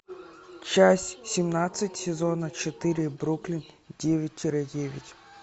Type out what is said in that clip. часть семнадцать сезона четыре бруклин девять тире девять